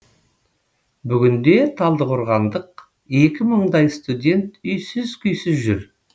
бүгінде талдықорғандық екі мыңдай студент үйсіз күйсіз жүр